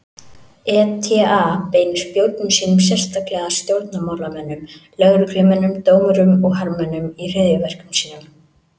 ETA beinir spjótum sínum sérstaklega að stjórnmálamönnum, lögreglumönnum, dómurum og hermönnum í hryðjuverkum sínum.